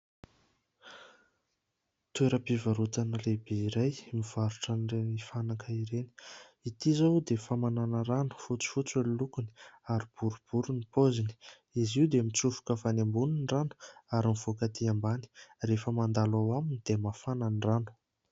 Toeram-pivarotana lehibe iray mivarotra ireny fanaka ireny. Ity izao dia famanana rano fotsifotsy ny lokony, ary boribory ny paoziny. Izy io dia mitsofoka avy any ambony ny rano, ary mivoaka atỳ ambany. Rehefa mandalo ao aminy dia mafana ny rano.